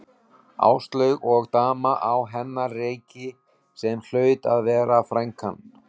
Áslaug og dama á hennar reki sem hlaut að vera frænkan.